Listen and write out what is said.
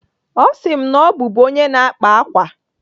Ọ sị m na ọ bụbu onye na-akpa ákwà.